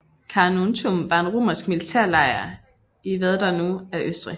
Carnuntum var en romersk militærlejr i hvad der nu er Østrig